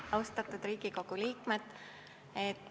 Austatud Riigikogu liikmed!